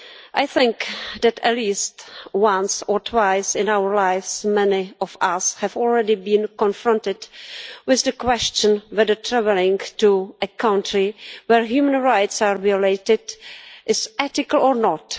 I think that at least once or twice in our lives many of us have already been confronted with the question of whether travelling to a country where human rights are violated is ethical or not.